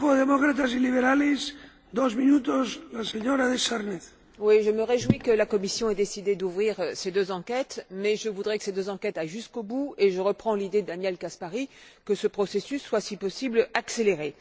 Monsieur le Président, je me réjouis que la Commission ait décidé d'ouvrir ces deux enquêtes mais je voudrais que ces deux enquêtes aillent jusqu'au bout, et je reprends l'idée de Daniel Caspary, qui demande que ce processus soit, si possible, accéléré.